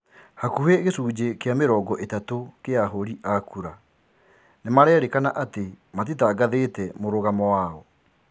Hakuhi gicunji kia mĩrongo itatũ kia ahũri a kura nimarairikana ati matitangathite mũrũgamo wao.